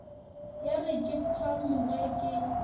ya re ke phamoge ke